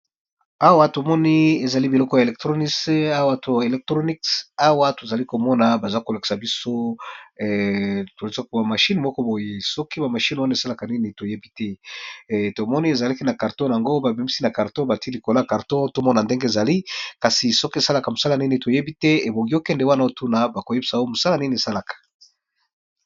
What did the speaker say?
Awa to moni ezali biloko ya eleconics. Awa to zali ko mona baza ko lakisa biso ba mashine moko boye. Soki ba mashine wana esalaka nini to yebi te. Tomoni ezalaki na karton na yango. Ba bimisi na karto bati likolo ya carton tomona ndenge ezali. Kasi soki esalaka mosala nini to yebi te. Ebongi okende wana otuna ba koyebisa yo mosala nini esalaka.